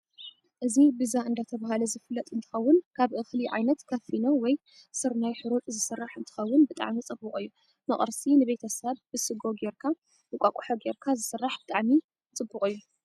እዚ ብዛ እደተበሃለ ዝፍለጥ እንትከውን ካብ እክሊ ዓይነት ካብ ፈኖ ወይ ስርና ሕሩጭ ዝስራሕ እንትከውን ብጣዓሚ ፅብቁ እዩ ንቅርሲ ንቤተሰብ ብ ስጎ ገይርካ እንቋቆሖ ገይርካ ዝስራሕ ብጣዓሚ ፅቡቅ እዩ።